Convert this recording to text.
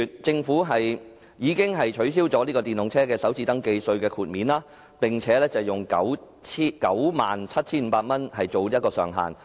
政府在去年4月取消電動車豁免首次登記稅的措施，並以 97,500 元作為上限。